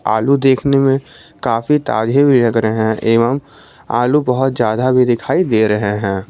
आलू देखने में काफी लग रहे हैं एवं आलू बहुत ज्यादा भी दिखाई दे रहे हैं।